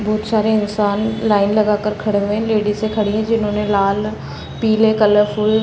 बहोत सारे इंसान लाइन लगा के खड़े हुए हैं लेडीसें खड़ी हैं जिन्होंने लाल पीले कलरफुल --